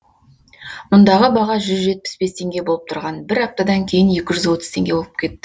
мұндағы баға жүз жетпіс бес теңге болып тұрған бір аптадан кейін екі жүз отыз теңге болып кетті